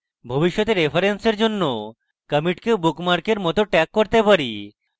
ভবিষ্যতে references জন্য একটি কমিটকে bookmark we মত tag করতে পারি